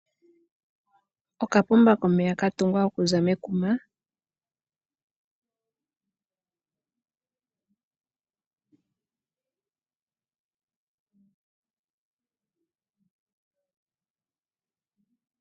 Okapomba komeya katungwa kaza mekuma